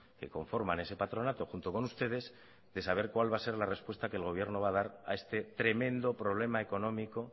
que conforman ese patronato junto con ustedes de saber cuál va a ser la respuesta que el gobierno va a dar a este tremendo problema económico